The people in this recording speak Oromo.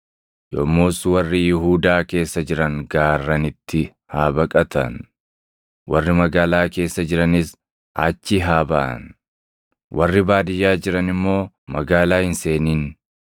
Yommus warri Yihuudaa keessa jiran gaarranitti haa baqatan; warri magaalaa keessa jiranis achii haa baʼan; warri baadiyyaa jiran immoo magaalaa hin seenin.